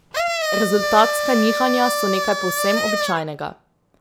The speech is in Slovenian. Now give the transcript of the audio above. Rezultatska nihanja so nekaj povsem običajnega.